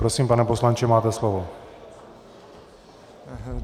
Prosím, pane poslanče, máte slovo.